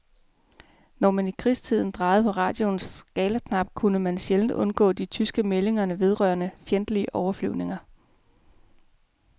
Når man i krigstiden drejede på radioens skalaknap, kunne man sjældent undgå de tyske meldinger vedrørende fjendtlige overflyvninger.